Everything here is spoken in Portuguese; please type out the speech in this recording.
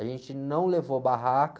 A gente não levou barraca.